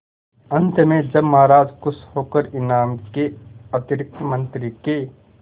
अंत में जब महाराज खुश होकर इनाम के अतिरिक्त मंत्री के